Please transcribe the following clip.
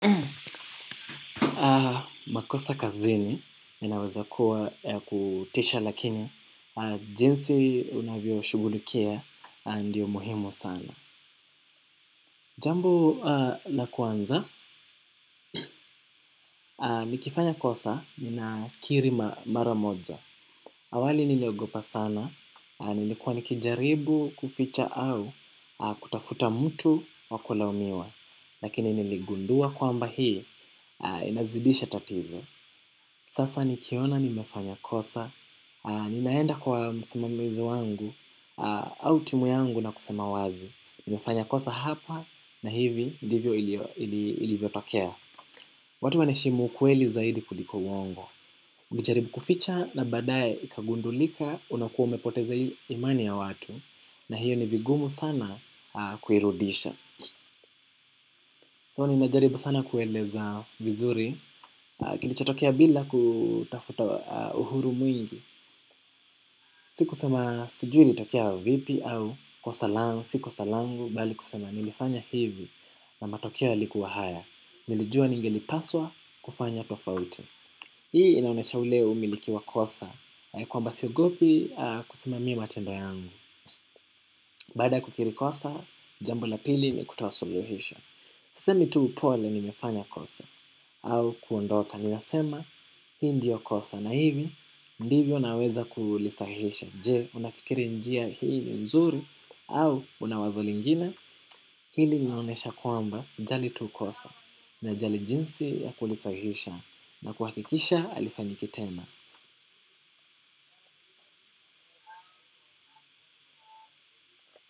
Makosa kazini inaweza kuwa ya kutisha lakini jinsi unavyoshughulikia ndiyo muhimu sana. Jambo la kwanza, nikifanya kosa ninakiri mara moja. Awali niliogopa sana. Nilikuwa nikujaribu kuficha au kutafuta mtu wa kulaumiwa. Lakini niligundua kwamba hii inazidisha tatizo. Sasa nikiona nimefanya kosa, ninaenda kwa msimamizi wangu au timu yangu na kusema wazi nimefanya kosa hapa na hivi ndivyo ilivyotokea. Watu wanaheshimu ukweli zaidi kuliko uongo. Ujaribu kuficha na baadaye ikagundulika unakuwa umepoteza imani ya watu. Na hiyo ni vigumu sana kuirudisha so ninajaribu sana kueleza vizuri kilichotokea bila kutafuta uhuru mwingi si kusema sijui ilitokea vipi au kosa langu si kosa langu bali kusema nilifanya hivi na matokeo yalikuwa haya nilijua ningelipaswa kufanya tofauti. Hii inaonesha ule umiliki wa kosa kwamba siogopi kusimamia matendo yangu. Baada ya kukiri kosa jambo la pili ni kutoa suluhisho. Sisemi tu pole nimefanya kosa au kuondoka ninasema hii ndiyo kosa na hivi ndivyo naweza kulisahihisha je unafikiri njia hii ni nzuri au una wazo lingine. Hili linaonesha kwamba sijali tu kosa najali jinsi ya kulisahihisha na kuhakikisha halifanyiki tena.